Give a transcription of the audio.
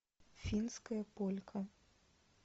финская полька